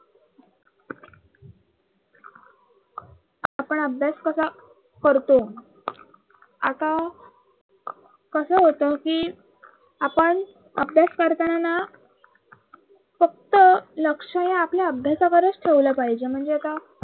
आपण अभ्यास कसा करतो. आता कस होत कि आपण अभ्यास करताना ना फक्त लक्ष हे आपल्या अभ्यासाकडेच ठेवलं पाहिजे म्हणजे आता